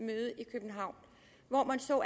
københavn hvor man så